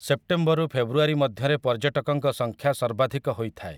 ସେପ୍ଟେମ୍ବରରୁ ଫେବୃଆରୀ ମଧ୍ୟରେ ପର୍ଯ୍ୟଟକଙ୍କ ସଂଖ୍ୟା ସର୍ବାଧିକ ହୋଇଥାଏ ।